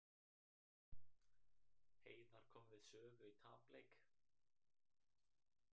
Heiðar kom við sögu í tapleik